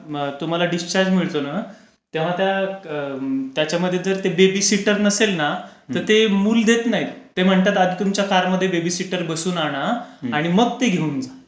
तुम्हाला डिस्चार्ज मिळतो ना त्याच्यामध्ये जर बेबी सीटर नसेल ना तर ते मूल देत नाहीत. ते म्हणतात आधी तुमच्या कारमध्ये बेबी सीटर बसवून आणा आणि मग ते घेऊन जा.